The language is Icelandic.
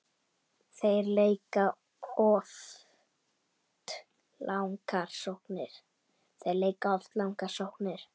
Þeir leika oft langar sóknir.